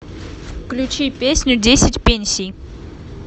включи песню десять пенсий